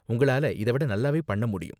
உங்களால இத விட நல்லாவே பண்ண முடியும்.